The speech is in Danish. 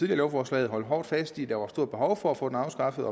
lovforslag holdt hårdt fast i at der var stort behov for at få den afskaffet